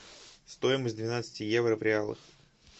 стоимость двенадцати евро в реалах